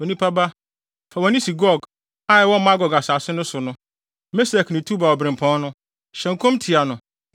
“Onipa ba, fa wʼani si Gog, a ɛwɔ Magog asase so no so, Mesek ne Tubal obirɛmpɔn no; hyɛ nkɔm tia no